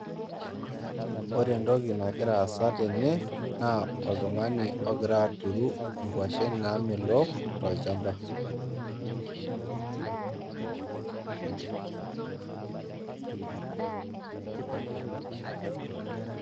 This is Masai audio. Ore entoki nagira aasa tene naa oltungani ogira aturu nkwashen namelok tolchamba[break]